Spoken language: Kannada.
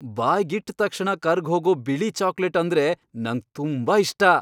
ಬಾಯ್ಗಿಟ್ ತಕ್ಷಣ ಕರ್ಗ್ಹೋಗೋ ಬಿಳಿ ಚಾಕ್ಲೇಟ್ ಅಂದ್ರೆ ನಂಗ್ ತುಂಬಾ ಇಷ್ಟ.